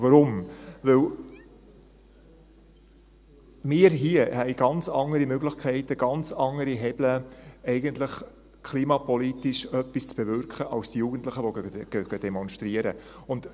Weshalb? – Weil … hier haben ganz andere Möglichkeiten, ganz andere Hebel eigentlich, um klimapolitisch etwas zu bewirken als die Jugendlichen, die demonstrieren gehen.